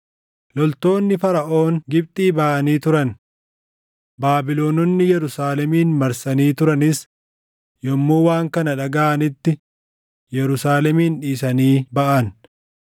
Loltoonni Faraʼoon Gibxii baʼanii turan; Baabilononni Yerusaalemin marsanii turanis yommuu waan kana dhagaʼanitti Yerusaalemin dhiisanii baʼan.